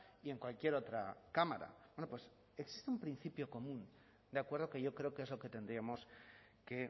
y en cualquier otra cámara existe un principio común de acuerdo que yo creo que es lo que tendríamos que